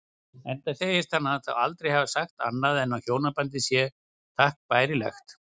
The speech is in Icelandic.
Enda segist hann þá aldrei hafa sagt annað en hjónabandið sé takk bærilegt.